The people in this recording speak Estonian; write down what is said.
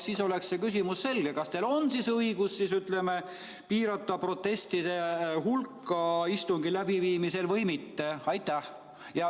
Siis oleks see küsimus selge, kas teil on õigus piirata protestide hulka istungi läbiviimisel või mitte.